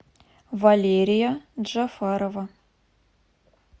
валерия джафарова